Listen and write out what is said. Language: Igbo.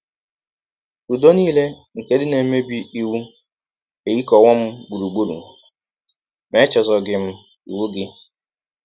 Ụdọ nile nke ndị na - emebi iwụ ehikọwọ m gbụrụgbụrụ; ma echezọghị m iwụ gị. ”